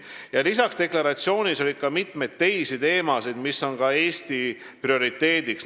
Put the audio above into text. Lisaks oli seal deklaratsioonis mitmeid teisi teemasid, mis on ka Eesti prioriteediks.